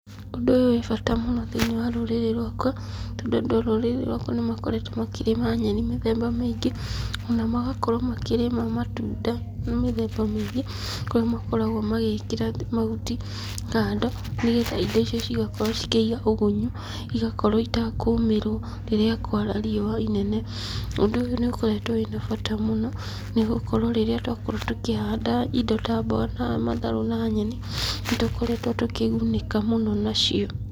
Ũndũ ũyũ wĩ bata mũno thĩiniĩ wa rũrĩrĩ rwakwa tondũ andũ a rũrĩrĩ nĩmakoretwo makĩrĩma nyeni mĩthemba mĩingĩ o na magakorwo makĩrĩma matunda ma mĩthemba mĩingĩ ,kũrĩa makoragwo magĩkĩra mahuti kando nĩ getha indo icio cigakorwo cikĩĩga ũgunyu, igakorwo itakũmĩrwo rĩrĩa kũara riũa inene. Ũndũ ũyũ nĩ ũkoretwo wĩna bata mũno nĩgũkorwo rĩrĩa twakorwo tũkĩhanda indo ta mboga na matharũ na nyeni nĩtũkoretwo tũkĩgunĩka mũno nacio.